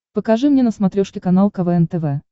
покажи мне на смотрешке канал квн тв